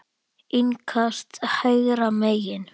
Innkast hægra megin.